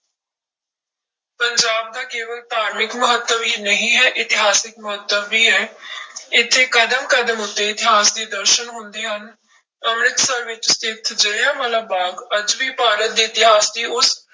ਪੰਜਾਬ ਦਾ ਕੇਵਲ ਧਾਰਮਿਕ ਮਹੱਤਵ ਹੀ ਨਹੀਂ ਹੈ, ਇਤਿਹਾਸਕ ਮਹੱਤਵ ਵੀ ਹੈ ਇੱਥੇ ਕਦਮ ਕਦਮ ਉੱਤੇ ਇਤਿਹਾਸ ਦੇ ਦਰਸਨ ਹੁੰਦੇ ਹਨ, ਅੰਮ੍ਰਿਤਸਰ ਵਿੱਚ ਸਥਿੱਤ ਜ਼ਿਲ੍ਹਿਆਂ ਵਾਲਾ ਬਾਗ਼ ਅੱਜ ਵੀ ਭਾਰਤ ਦੇ ਇਤਿਹਾਸ ਦੀ ਉਸ